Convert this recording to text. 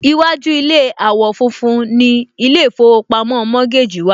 Iwájú ilé àwò fun fun ni ilé ìfowópamọ́ Mortgage wà